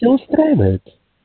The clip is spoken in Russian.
все устраивает